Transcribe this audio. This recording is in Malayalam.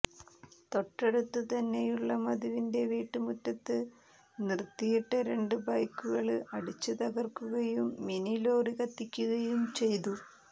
തൊട്ടടുത്ത് തന്നെയുള്ള മധുവിന്റെ വീട്ട് മുറ്റത്ത് നിര്ത്തിയിട്ട രണ്ട് ബൈക്കുകള് അടിച്ച് തകര്ക്കുകയും മിനി ലോറി കത്തിക്കുകയും ചെയ്തു